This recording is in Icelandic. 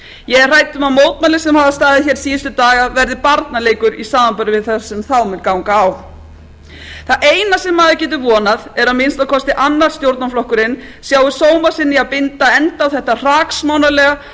ég er hrædd um að mótmælin sem hafa staðið hér síðustu daga verði barnaleikur í samanburði við það sem þá mun ganga á það eina sem maður getur vonað er að minnsta kosti annar stjórnarflokkurinn sjái sóma sinn í að binda enda á þetta hraksmánarlega